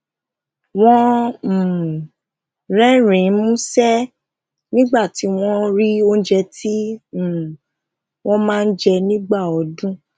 wón um rérìnín músé nígbà tí wón rí oúnjẹ tí um wón máa ń jẹ nígbà ọdún